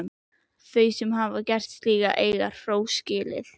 Þau sem hafa gert slíkt eiga hrós skilið.